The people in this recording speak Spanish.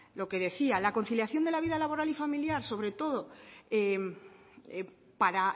lo que decía la conciliación de la vida laboral y familiar sobre todo para